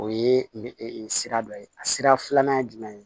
O ye sira dɔ ye a sira filanan ye jumɛn ye